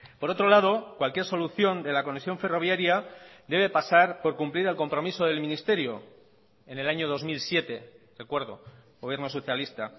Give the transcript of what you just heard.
por otro lado cualquier solución de la conexión ferroviaria debe pasar por cumplir el compromiso del ministerio en el año dos mil siete recuerdo gobierno socialista